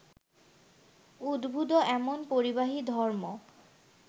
উদ্ভুত এমন পরিবাহী ধর্ম